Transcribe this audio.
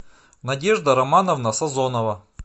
надежда романовна сазонова